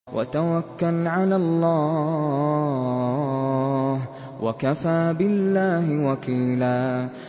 وَتَوَكَّلْ عَلَى اللَّهِ ۚ وَكَفَىٰ بِاللَّهِ وَكِيلًا